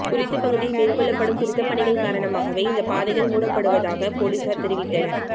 குறித்த பகுதியில் மேற்கொள்ளப்படும் திருத்தப்பணிகள் காரணமாகவே இந்தப் பாதைகள் மூடப்பட்டுவதாக பொலிஸார் தெரிவித்தனர்